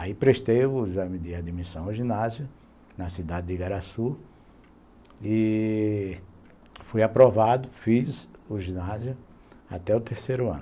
Aí prestei o exame de admissão ao ginásio, na cidade de Igaraçu, e fui aprovado, fiz o ginásio até o terceiro ano.